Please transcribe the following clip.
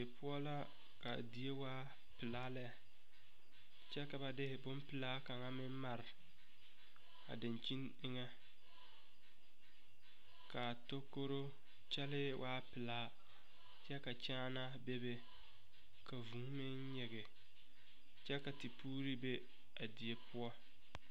Die poʊ la . Ka die waa pulaa lɛ. Kyɛ ka ba de boŋ pulaa kang meŋ mare a dankyen eŋe. Kaa tɔkɔro kyɛle waa pulaa kyɛ ka kyaanaa bebe. Ka vuu meŋ nyige kyɛ ka tepuure be a die poʊ.